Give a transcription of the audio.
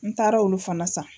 N taara olu fana san.